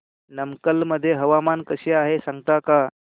नमक्कल मध्ये हवामान कसे आहे सांगता का